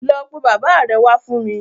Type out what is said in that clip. Lọ pe bàbáa rẹ wá fún mi!